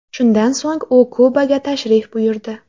Shundan so‘ng u Kubaga tashrif buyurdi.